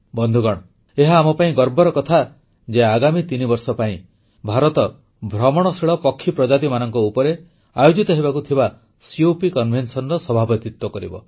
ବନ୍ଧୁଗଣ ଏହା ଆମ ପାଇଁ ଗର୍ବର କଥା ଯେ ଆଗାମୀ ତିନିବର୍ଷ ପାଇଁ ଭାରତ ଭ୍ରମଣଶୀଳ ପ୍ରଜାତିମାନଙ୍କ ଉପରେ ଆୟୋଜିତ ହେବାକୁ ଥିବା କପ୍ ସମ୍ମିଳନୀର ସଭାପତିତ୍ୱ କରିବ